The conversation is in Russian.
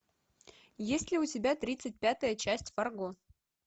есть ли у тебя тридцать пятая часть фарго